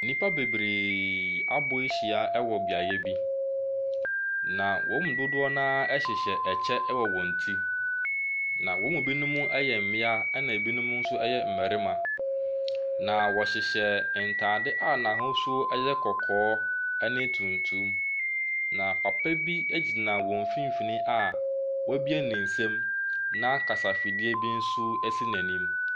Nnipa bebree abɔ hyia wɔ beaeɛ bi. Na wɔn mu dodoɔ naa hyehyɛ ɛkyɛ wɔ wɔn ti. Na wɔn mu binom ɛyɛ mmia ɛna ebinom nso ɛyɛ mmarimma. Na wɔhyehyɛ ntaade a n'ahosuo ɛyɛ kɔkɔɔ ɛne tuntum. Na papabi egyina wɔn mfinfinn a w'abue ne nsam na kasa fidie bi nso esi n'anim.